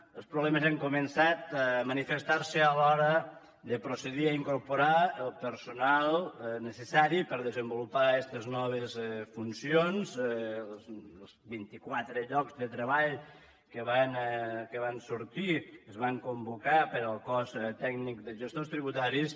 los problemes han començat a manifestar se a l’hora de procedir a incorporar el personal necessari per desenvolupar estes noves funcions els vint i quatre llocs de treball que van sortir que es van convocar per al cos tècnic de gestors tributaris